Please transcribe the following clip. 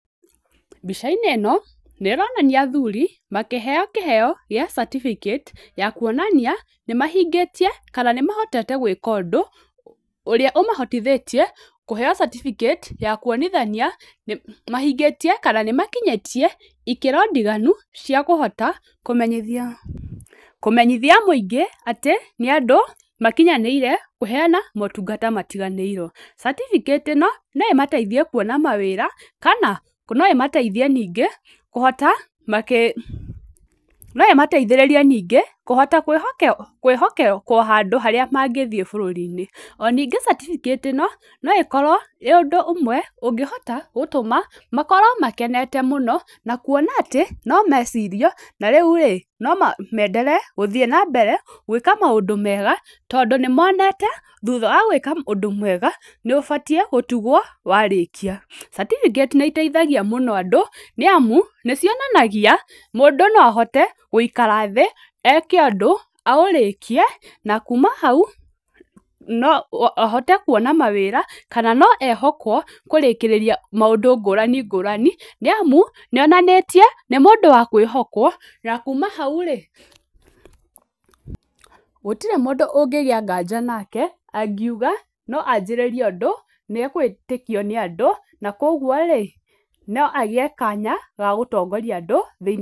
Mbica-inĩ ĩno nĩ ĩronania athuri makĩheo kĩheo kĩa certificate ya kuonania, nĩ mahingĩtie kana nĩ mahotete gwĩka ũndũ ũrĩa ũmahotithĩtie kũheo certificate ya kuonithania nĩ mahingĩtie kana nĩ makinyĩtie ikĩro ndiganu cia kũhota kũmenyithia kũmenyithia mũingĩ atĩ nĩ andũ makinyanĩire kũheana motungata matiganĩirwo. Certificate ĩno no ĩmateithie kuona mawĩra, kana no ĩmateithie nĩngĩ kũhota makĩ, no ĩmateithĩrĩrie ningĩ kũhota kwĩhokerwo kwĩhokekwo handũ harĩa mangĩthiĩ bũrũri-inĩ, o ningĩ certificate ĩno, no ĩkorwo ĩrĩ ũndũ ũmwe ũngĩhota gũtũma makorwo makenete mũno, na kuona atĩ no mecirie, na rĩu rĩ, no menderee gũthiĩ nambere gwĩka maũndũ mega, tondũ nĩ monete thutha wa gwĩka ũndũ mwega, nĩ ũbatiĩ gũtugwo warĩkia, certificate ĩ iteithagia mũno andũ, nĩ amu nĩ cionanagia mũndũ no ahote gũikara thĩ, eke ũndũ, aũrĩkie, na kuuma hau no ahote kuona mawĩra, kana no ehokwo kũrĩkĩrĩria maũndũ ngũrani ngũrani, nĩ amu nĩ onanĩtie nĩ mũndũ wa kwĩhokwo, na kuuma hau rĩ, gũtirĩ mũndũ ũngĩgĩa nganja nake, angiuga no anjĩrĩrie ũndũ, nĩ agwĩtĩkio nĩ andũ, na koguo rĩ, no agĩe kanya ga gũtongoria andũ thĩinĩ.